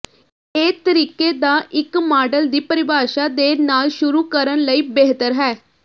ਇਹ ਤਰੀਕੇ ਦਾ ਇੱਕ ਮਾਡਲ ਦੀ ਪਰਿਭਾਸ਼ਾ ਦੇ ਨਾਲ ਸ਼ੁਰੂ ਕਰਨ ਲਈ ਬਿਹਤਰ ਹੈ